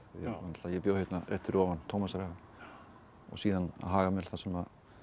ég bjó hérna rétt fyrir ofan á Tómasarhaga og síðan á Hagamel þar sem